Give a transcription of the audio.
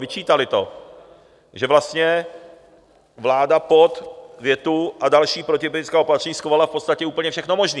Vyčítaly to, že vlastně vláda pod větu "a další protiepidemická opatření" schovala v podstatě úplně všechno možné.